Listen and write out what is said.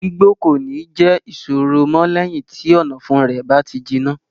Gbígbó kò ní jẹ́ ìṣòro mọ́ lẹ́yìn tí ọ̀nàfun rẹ̀ bá ti jiná.